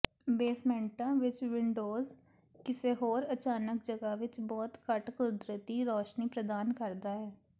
ਬੇਸਮੈਂਟਾਂ ਵਿਚ ਵਿੰਡੋਜ਼ ਕਿਸੇ ਹੋਰ ਅਚਾਨਕ ਜਗ੍ਹਾ ਵਿਚ ਬਹੁਤ ਘੱਟ ਕੁਦਰਤੀ ਰੌਸ਼ਨੀ ਪ੍ਰਦਾਨ ਕਰਦਾ ਹੈ